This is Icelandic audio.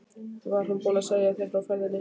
Var hún búin að segja þér frá ferðinni?